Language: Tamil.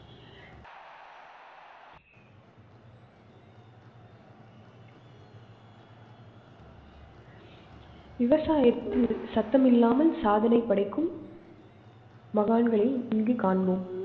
விவசாயத்து சத்தமில்லமல் சாதனை படைக்கும் மகான்கள் இங்கு காண்போம்.